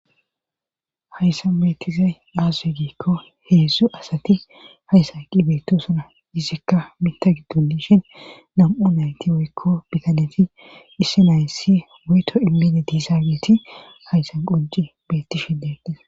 Hayssan beettizay aaze giikko heedzdzu asati hayssa qi beetu suna izikka mita giddunishin nam7u nayti woykko bitaneti isse naysi weyto immeni diisageeti hayssan qonji beetti sfhilleti.